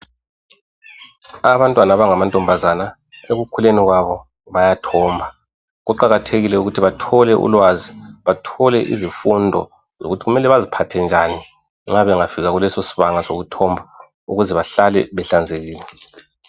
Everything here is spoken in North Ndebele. Abantwana abangamantombazana ekukhuleni kwabo bayathomba, kuqakathekile ukuthi bathole ulwazi bathole imfundiso zokuthi kumele baziphathe njani njengoba bengafika kulesosibanga sokuthomba ukuze behlale behlanzekile.